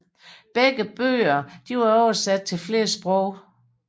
Begge bøgerne er oversat til flere sprog